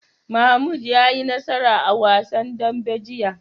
Mahmud ya yi nasara a wasan dambe jiya.